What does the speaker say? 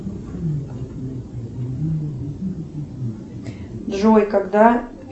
джой когда